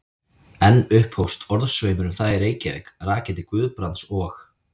Enn upphófst orðasveimur um það í Reykjavík, rakinn til Guðbrands og